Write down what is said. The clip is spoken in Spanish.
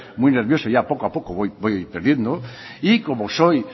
muy nervioso y ya poco a poco voy perdiendo y como soy